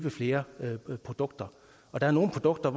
flere produkter der er nogle produkter